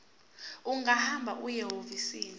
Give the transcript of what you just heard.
ungahamba uye ehhovisi